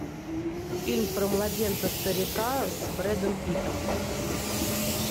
фильм про младенца старика с брэдом питтом